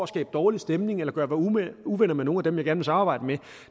skabe dårlig stemning eller gøre mig uvenner med nogen af dem jeg gerne vil samarbejde med